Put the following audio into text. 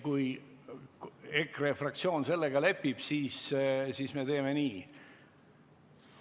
Kui EKRE fraktsioon sellega lepib, siis me teeme nii.